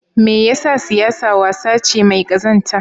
Me yasa siyasa wasa ce mai kazanta?